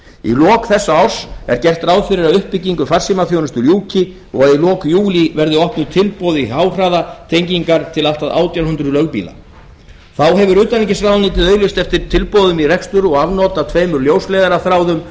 í lok þessa árs er gert ráð fyrir að uppbyggingu farsímaþjónustu ljúki og að í lok júlí verði opnuð tilboð í háhraðatengingar til allt að átján hundruð lögbýla þá hefur utanríkisráðuneytið auglýst eftir tilboðum í rekstur og afnot af tveimur ljósleiðaraþráðum